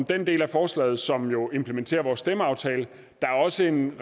den del af forslaget som jo implementerer vores stemmeaftale der er også en